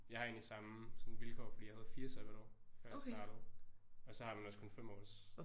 Jeg har egentlig samme sådan vilkår fordi jeg havde 4 sabbatår før jeg startede og så har man også kun 5 års